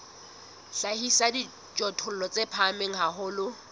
hlahisa dijothollo di phahame haholo